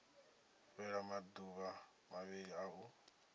fhela maduvha mavhili a u